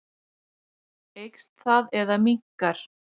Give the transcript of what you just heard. Eykst það eða minnkar?